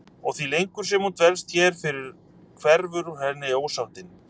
Og því lengur sem hún dvelst hér því fyrr hverfur úr henni ósáttin.